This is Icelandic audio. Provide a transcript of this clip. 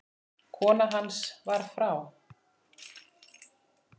Kona hans var frá